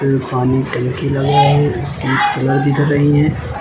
पानी टांकी लगा है उसकी पिलर दिख रहीं हैं।